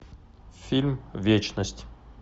фильм вечность